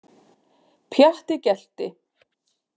Pjatti gelti.